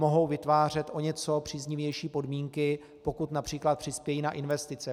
Mohou vytvářet o něco příznivější podmínky, pokud například přispějí na investice.